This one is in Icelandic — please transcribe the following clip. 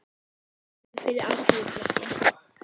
Hann var í framboði fyrir Alþýðuflokkinn.